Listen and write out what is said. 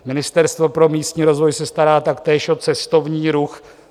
Ministerstvo pro místní rozvoj se stará taktéž o cestovní ruch.